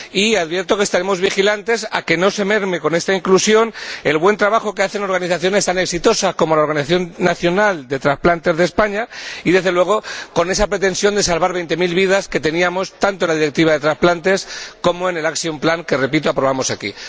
Y advierto que estaremos vigilantes para que no se merme, con esta inclusión, el buen trabajo que hacen organizaciones tan exitosas como la Organización Nacional de Transplantes de España y, desde luego, la pretensión de salvar veinte mil vidas que teníamos tanto en la Directiva sobre transplantes como en el plan de acción que, repito, aprobamos aquí.